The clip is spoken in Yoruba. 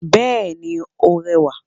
Bẹ́ẹ̀ni ó rẹwà